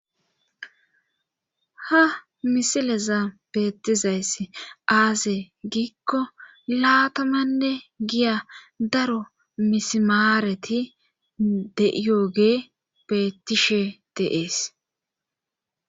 ha misileza beettizayss aaze giikko laatamanne giya daro misimaareti deiyogee bettishe deees